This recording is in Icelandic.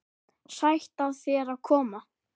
Sætt af þér að koma.